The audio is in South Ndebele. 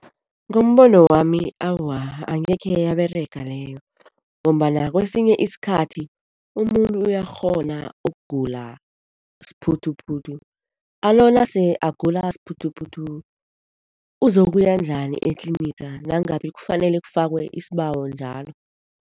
Ngombono wami awa, angekhe yaberega leyo ngombana kwesinye isikhathi umuntu uyakghona ukugula siphuthuphuthu, alo nase agula siphuthuphuthu uzokuya njani etliniga nangabe kufanele kufakwe isibawo njalo?